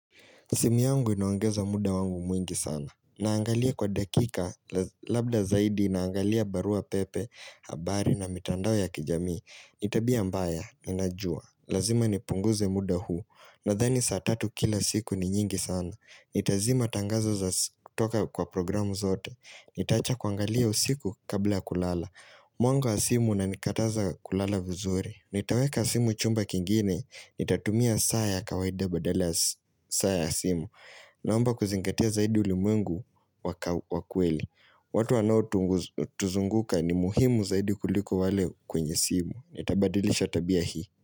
Simu yangu inoangeza muda wangu mwingi sana. Naangalia kwa dakika, labda zaidi, naangalia barua pepe, habari na mitandao ya kijamii. Ni tabia mbaya, ninajua. Lazima nipunguze muda huu, nathani saa tatu kila siku ni nyingi sana. Itazima tangazo za toka kwa programu zote. Nitaacha kuangalia usiku kabla kulala. Mwanga wa simu unanikataza kulala vuzuri. Nitaweka simu chumba kingine, nitatumia saa ya kawaida badala saa ya asimu Naomba kuzingatia zaidi ulimwengu wa kweli watu wanaotuzunguka ni muhimu zaidi kuliko wale kwenye simu Nitabadilisha tabia hii.